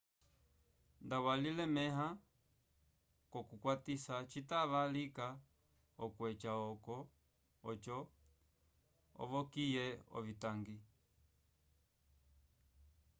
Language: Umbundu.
nda walilemẽha k'okukwatisa citava lika okweca oco ovokiye ovitangi